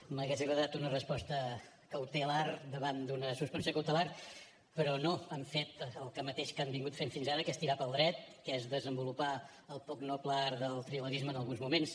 m’hauria agradat una resposta cautelar davant d’una suspensió cautelar però no han fet el mateix que han fet fins ara que és tirar pel dret que és desenvolupar el poc noble art del trilerisme en alguns moments